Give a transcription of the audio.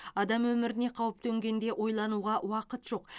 адам өміріне қауіп төнгенде ойлануға уақыт жоқ